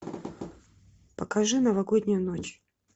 покажи новогоднюю ночь